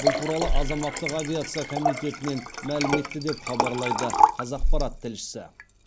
бұл туралы азаматтық авиация комитетінен мәлім етті деп хабарлайды қазақпарат тілшісі